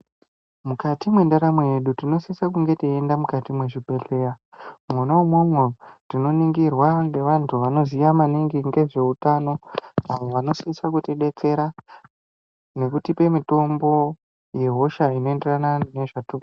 Mukati mwendaramo yedu tinosisa kunge teienda mukati mwezvibhedhleya, mwona mwomwo tinoringirwa ngeantu anoziya maningi ngezvehutano. Vantu vanosisa kuti betsera ngekutipe mitombo yehosha inoenderena nezvatiri kuzwa.